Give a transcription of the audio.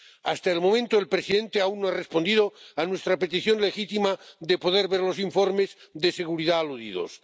Hasta el momento, el presidente aún no ha respondido a nuestra petición legítima de poder ver los informes de seguridad mencionados.